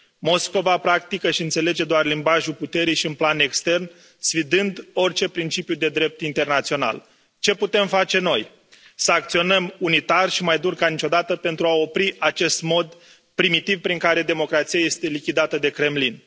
Moscova practică și înțelege doar limbajul puterii și în plan extern, sfidând orice principiu de drept internațional. Ce putem face noi să acționăm unitar și mai dur ca niciodată pentru a opri acest mod primitiv prin care democrația este lichidată de Kremlin.